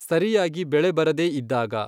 ಸರಿಯಾಗಿ ಬೆಳೆ ಬರದೇ ಇದ್ದಾಗ.